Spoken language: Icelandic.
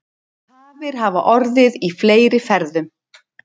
Tafir hafa orðið í fleiri ferðum